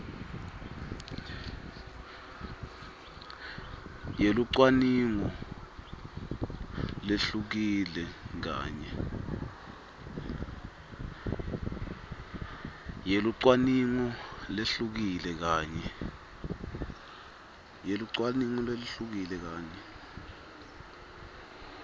yelucwaningo lehlukile kanye